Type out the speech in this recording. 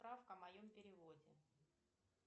справка о моем переводе